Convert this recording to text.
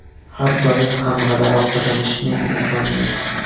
Har doim ham g‘alaba qozonishning imkoni yo‘q.